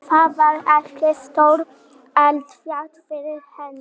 Þar var ekkert stórt eldfjall fyrir hendi.